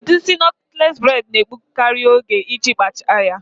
Udi isị nọtles bred na-egbukari oge iji kpachie ya